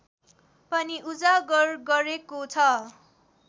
पनि उजागर गरेको छ